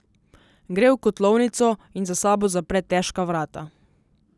Gre v kotlovnico in za sabo zapre težka vrata.